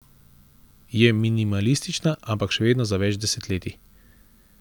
Je minimalistična, ampak še vedno za več desetletij.